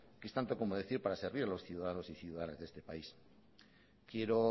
que es tanto como decir para servir a los ciudadanos y ciudadanas de este país quiero